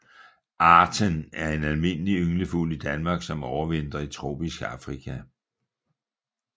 Arten er en almindelig ynglefugl i Danmark som overvintrer i tropisk Afrika